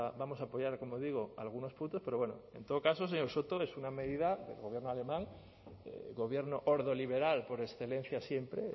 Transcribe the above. vamos a apoyar como digo algunos puntos pero bueno en todo caso señor soto es una medida del gobierno alemán gobierno ordoliberal por excelencia siempre